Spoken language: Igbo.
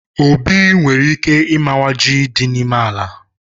Obi nwere ike imawa ji dị n'ime ala